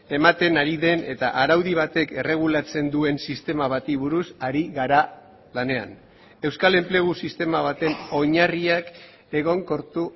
ematen ari den eta araudi batek erregulatzen duen sistema bati buruz ari gara lanean euskal enplegu sistema baten oinarriak egonkortu